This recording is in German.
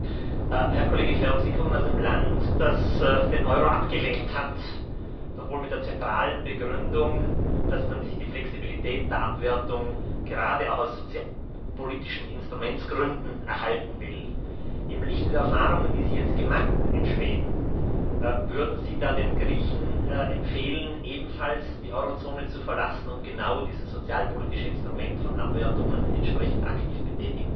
Herr Kollege Färm, Sie kommen aus einem Land, das den Euro abgelehnt hat, doch wohl mit der zentralen Begründung, dass man sich die Flexibilität der Abwertung gerade auch aus sozialpolitischen Instrumentsgründen erhalten will. Im Lichte der Erfahrungen, die Sie jetzt in Schweden gemacht haben, würden Sie da den Griechen empfehlen, ebenfalls die Eurozone zu verlassen, um genau dieses sozialpolitische Instrument von Abwertungen entsprechend aktiv betätigen zu können?